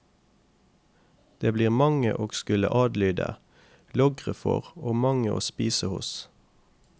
Det blir mange å skulle adlyde, logre for og mange å spise hos.